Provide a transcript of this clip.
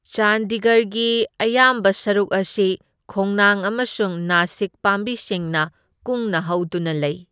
ꯆꯥꯟꯗꯤꯒꯔꯒꯤ ꯑꯌꯥꯝꯕ ꯁꯔꯨꯛ ꯑꯁꯤ ꯈꯣꯡꯅꯥꯡ ꯑꯃꯁꯨꯡ ꯅꯥꯁꯤꯛ ꯄꯥꯝꯕꯤꯁꯤꯡꯅ ꯀꯨꯡꯅ ꯍꯧꯗꯨꯅ ꯂꯩ꯫